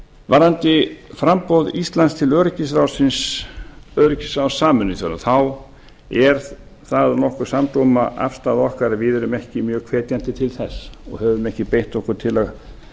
varðandi framboð íslands til öryggisráðs sameinuðu þjóðanna þá er það nokkuð samdóma afstaða okkar að við erum ekki mjög hvetjandi til þess og höfum ekki beitt okkur til að